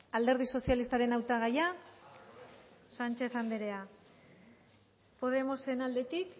alderdi sozialistaren hautagaia sánchez anderea podemosen aldetik